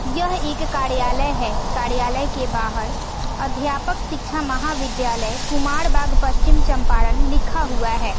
यह एक कार्यालय है कार्यालय के बाहर अध्यापक शिक्षा महाविद्यालय कुमार बाग पश्चिम चंपारण लिखा हुआ है।